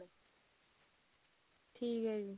ਠੀਕ ਹੈ ਜੀ